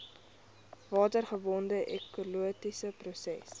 watergebonde ekologiese prosesse